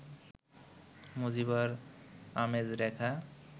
মজিবর, আমেজ, রেখা